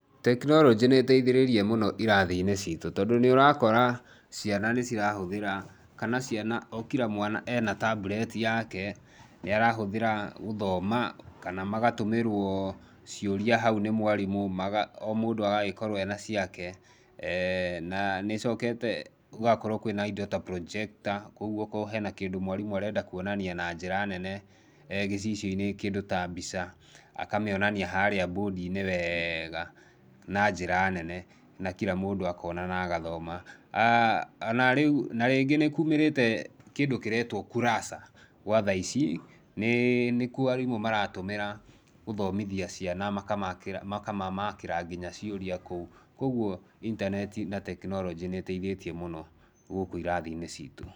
Tekinorojĩ nĩ ĩteithĩrĩirie mũno irathi-inĩ cĩtũ, tondũ nĩũrakora ciana nĩ cirahũthĩra, kana ciana o kila mwana e na tablet yake, nĩarahũthĩra gũthoma kana magatũmĩrwo ciũria hau nĩ mwarimũ maga o mũndũ agakorwo e na ciake na nĩcokete gũgakorwo kwĩna indo ta projector kwoguo okorwo he na kĩndũ mwarimũ arenda kuonania na njĩra nene gĩcicioinĩ kĩndũ ta mbica, akamĩonania harĩa bondiinĩ weeega na njĩra nene na kila mũndũ akona na agathoma na rĩu na rĩngĩ nĩkumĩrĩte kĩndũ kĩretwo kurasa gwa thaa ici nĩ nĩkuo arimũ maratũmĩra gũthomithia ciana makamamakĩra nginya ciũria kũu kwoguo intaneti na tekinoronjĩ nĩteithĩtie mũno gũkũ irathi-inĩ citũ